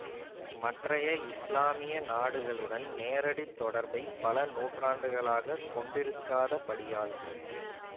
மற்றைய இஸ்லாமிய நாடுகளுடன் நேரடி தொடர்பை பல நூற்றாண்டுகளாகக் கொண்டிருக்காதபடியால்